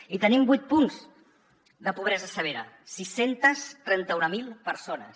i tenim vuit punts de pobresa severa sis cents i trenta mil persones